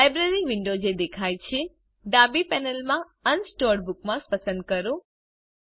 library window જે દેખાય છે ડાબી પેનલમાં અનસોર્ટેડ બુકમાર્ક્સ પસંદ કરો